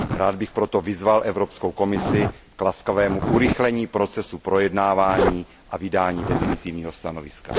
Rád bych proto vyzval Evropskou komisi k laskavému urychlení procesu projednávání a vydání definitivního stanoviska.